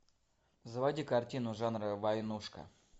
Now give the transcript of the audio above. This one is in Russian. заводи картину жанра войнушка